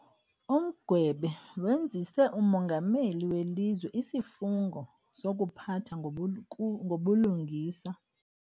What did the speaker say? Umgwebe wenzise umongameli welizwe isifungo sokuphatha ngobulungisa.